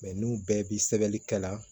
n'u bɛɛ bi sɛbɛnni kɛ la